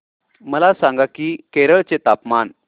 मला सांगा की केरळ चे तापमान